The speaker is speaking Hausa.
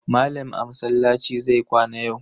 Malam a masallaci zai kwana yau.